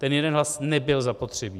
Ten jeden hlas nebyl zapotřebí.